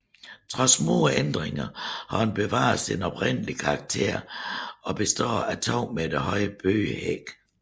Trods små ændringer har den bevaret sin oprindelige karakter og består af 2 meter høje bøgehække